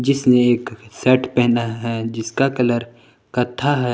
इसने एक शेट पहना है जिसका कलर कत्था है।